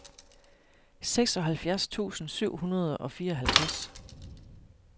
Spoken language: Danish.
seksoghalvfjerds tusind syv hundrede og fireoghalvtreds